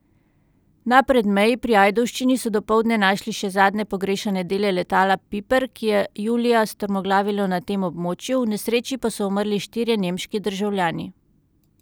Na Predmeji pri Ajdovščini so dopoldne našli še zadnje pogrešane dele letala piper, ki je julija strmoglavilo na tem območju, v nesreči pa so umrli štirje nemški državljani.